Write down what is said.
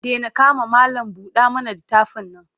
Dena kama malam-buɗa-mana-littafin nan.